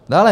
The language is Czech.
Dále.